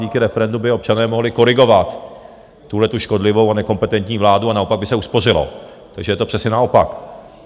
Díky referendu by občané mohli korigovat tuhletu škodlivou a nekompetentní vládu a naopak by se uspořilo, takže je to přesně naopak.